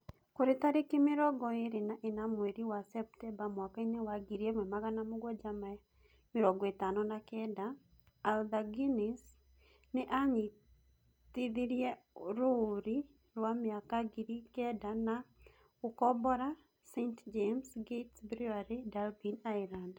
Kũrĩ tarĩki mĩrongo ĩĩrĩ na ĩna mweri wa Septemba mwakainĩ wa 1759, Arthur Guinness nĩ aanyitithirie rũũri rwa mĩaka ngiri kenda rwa gũkombora St James Gates Brewery, Dublin, Ireland